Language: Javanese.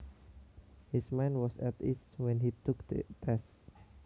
His mind was at ease when he took the test